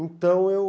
Então eu...